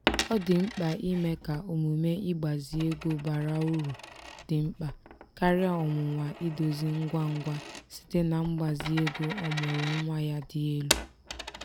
ọ dị mkpa ime ka omume ịgbazi ego bara uru dị mkpa karịa ọnwụnwa idozi ngwa ngwa site na mgbazi ego ọmụụrụ nwa ya dị elu.